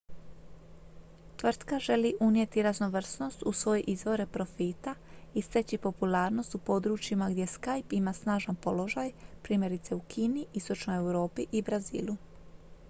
tvrtka želi unijeti raznovrsnost u svoje izvore profita i steći popularnost u područjima gdje skype ima snažan položaj primjerice u kini istočnoj europi i brazilu